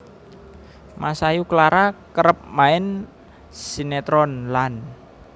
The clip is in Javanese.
Masayu Clara kerep main sinetron lan